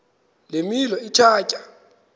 le milo ithatya